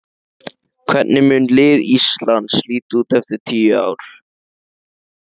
Hvernig mun lið Íslands líta út eftir tíu ár?